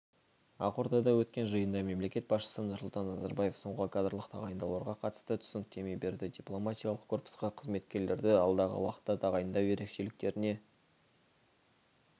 ақордада өткен жиында мемлекет басшысы нұрсұлтан назарбаев соңғы кадрлық тағайындауларға қатысты түсініктеме берді дипломатиялық корпусқа қызметкерлерді алдағы уақытта тағайындау ерекшеліктеріне